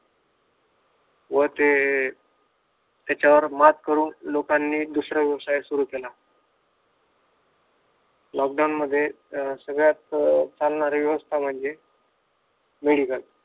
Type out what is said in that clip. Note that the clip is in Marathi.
व ते हिच्यावर मात करून लोकांनी दुसरा व्यवसाय सुरु केला लॉकडाउन सगळ्यात चालणारे व्यवसाय म्हणजे मेडिकल